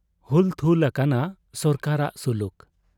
ᱦᱩᱞᱛᱷᱩᱞ ᱟᱠᱟᱱᱟ ᱥᱚᱨᱠᱟᱨᱟᱜ ᱥᱩᱞᱩᱠ ᱾